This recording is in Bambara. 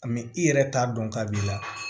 i yɛrɛ t'a dɔn k'a b'i la